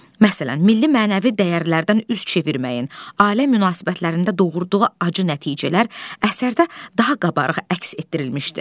Məsələn, milli mənəvi dəyərlərdən üz çevirməyin, ailə münasibətlərində doğurduğu acı nəticələr əsərdə daha qabarıq əks etdirilmişdi.